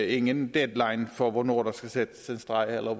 ingen deadline for hvornår der skal trækkes en streg eller